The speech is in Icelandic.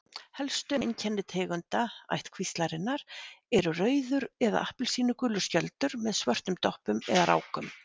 Helstu einkenni tegunda ættkvíslarinnar eru rauður eða appelsínugulur skjöldur með svörtum doppum eða rákum.